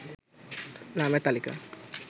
নামের তালিকা